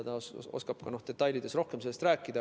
Tema oskab detailides sellest rohkem rääkida.